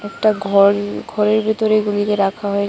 একটা ঘর ঘরের ভিতরে এগুলিকে রাখা হয়ে--